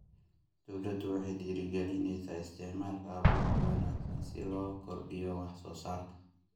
Dawladdu waxay dhiirigelinaysaa isticmaalka abuur wanaagsan si loo kordhiyo wax-soo-saarka.